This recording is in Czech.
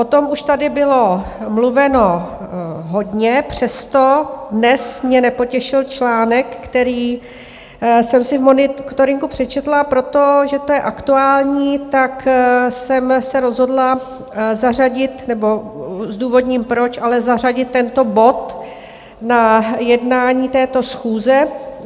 O tom už tady bylo mluveno hodně, přesto dnes mě nepotěšil článek, který jsem si v monitoringu přečetla, proto že to je aktuální, tak jsem se rozhodla zařadit nebo zdůvodním proč, ale zařadit tento bod na jednání této schůze.